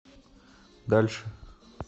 дальше